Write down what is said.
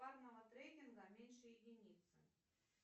парного трекинга меньше единицы